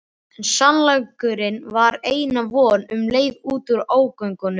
En sannleikurinn var eina vonin um leið út úr ógöngunum.